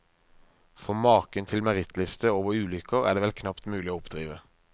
For maken til merittliste over ulykker er det vel knapt mulig å oppdrive.